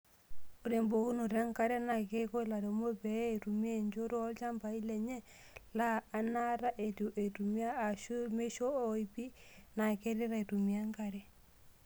Ore embukokinoto enkare naa keiko lairemok pee eitumiya nchot oolchambai lenye laa anaata eitu eitumiya aashu meisho oipi naa keret aitumiya enkare.